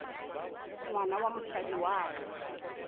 ngwana wa mosadi wa ka